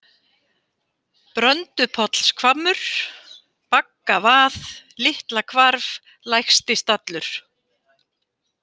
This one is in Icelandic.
Bröndupollshvammur, Baggavað, Litlahvarf, Lægstistallur